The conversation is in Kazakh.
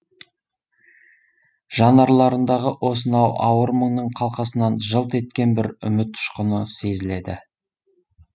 жанарларындағы осынау ауыр мұңның қалқасынан жылт еткен бір үміт ұшқыны сезіледі